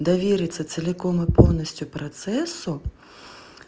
довериться целиком и полностью процессу